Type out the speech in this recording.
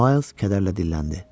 Mayls kədərlə dilləndi.